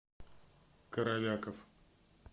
коровяков